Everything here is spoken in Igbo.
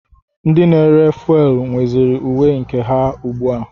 Ndị na-ere fuwelu nweziri uwe nke ha ugbu a.